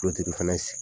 fɛnɛ